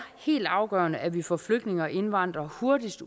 helt afgørende at vi får flygtninge og indvandrere hurtigst